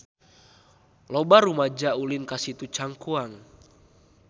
Loba rumaja ulin ka Situ Cangkuang